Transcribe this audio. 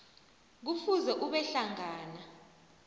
kufuze ube hlangana